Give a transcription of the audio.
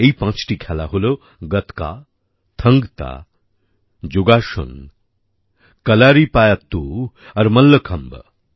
এই পাঁচটি খেলা হল গতকা থাংগতা যোগাসন কলারিপায়াত্তু আর মল্লখম্ব